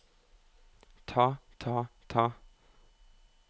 ta ta ta